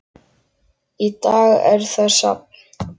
Í dag er það safn.